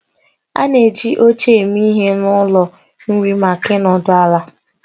A na-eji oche eme ihe n'ụlọ nri maka ịnọdụ ala